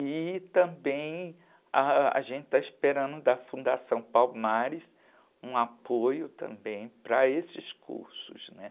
E também ãh, gente está esperando da Fundação Palmares um apoio também para esses cursos, né?